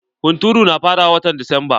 Hunturu na farawa watan desamba.